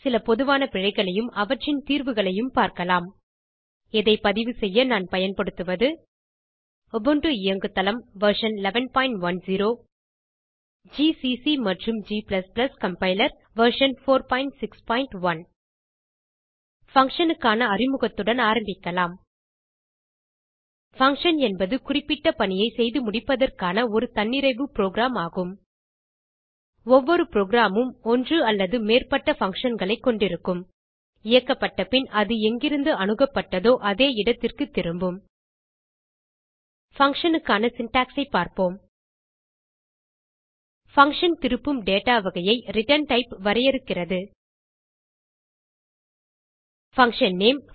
சில பொதுவான பிழைகளையும் அவற்றின் தீர்வுகளையும் பார்க்கலாம் இதை பதிவு செய்ய நான் பயன்படுத்துவது உபுண்டு இயங்குதளம் வெர்ஷன் 1110 ஜிசிசி மற்றும் g கம்பைலர் வெர்ஷன் 461 functionகான அறிமுகத்துடன் ஆரம்பிக்கலாம் பங்ஷன் என்பது குறிப்பிட்ட பணியை செய்து முடிப்பதற்கான ஒரு தன்னிறைவு புரோகிராம் ஆகும் ஒவ்வொரு புரோகிராம் உம் ஒன்று அல்லது மேற்பட்ட functionகளை கொண்டிருக்கும் இயக்கப்பட்ட பின் அது எங்கிருந்து அணுகப்பட்டதோ அதே இடத்திற்கு திரும்பும் பங்ஷன் க்கான சின்டாக்ஸ் ஐ பார்ப்போம் பங்ஷன் திருப்பும் டேட்டா வகையை ret டைப் வரையறுக்கிறது fun name